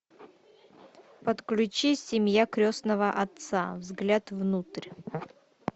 подключи семья крестного отца взгляд внутрь